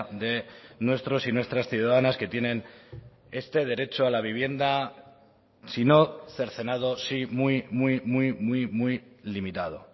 de nuestros y nuestras ciudadanas que tienen este derecho a la vivienda si no cercenado sí muy muy muy muy muy limitado